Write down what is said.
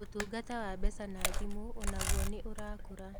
Ũtungata wa mbeca na thimũ o naguo nĩ ũrakũra.